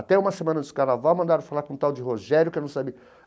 Até uma semana do Carnaval, mandaram falar com um tal de Rogério, que eu não sabia.